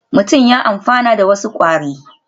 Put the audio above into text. Mutum ya amfana da wasu kwari